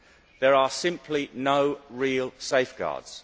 There are simply no real safeguards.